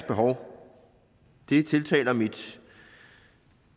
behov tiltaler mit